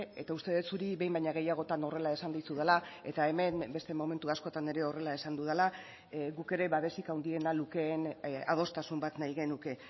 eta uste dut zuri behin baino gehiagotan horrela esan dizudala eta hemen beste momentu askotan ere horrela esan dudala guk ere babesik handiena lukeen adostasun bat nahi genuke